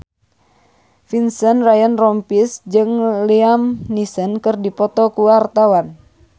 Vincent Ryan Rompies jeung Liam Neeson keur dipoto ku wartawan